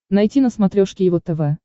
найти на смотрешке его тв